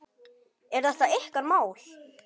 Er þetta ykkar mál?